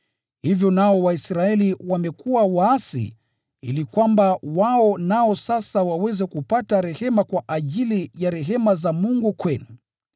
hivyo nao Waisraeli wamekuwa waasi ili kwamba wao nao sasa waweze kupata rehema kwa ajili ya rehema za Mungu kwenu.